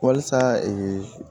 Wasa